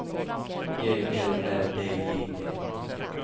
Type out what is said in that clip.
G L Ä D J E